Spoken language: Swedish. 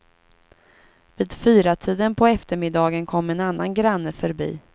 Vid fyratiden på eftermiddagen kom en annan granne förbi.